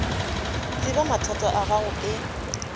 tseba mathata a gago ke